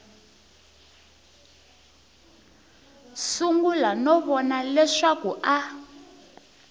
sungula no vona leswaku a